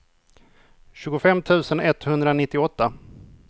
tjugofem tusen etthundranittioåtta